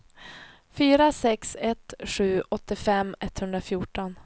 fyra sex ett sju åttiofem etthundrafjorton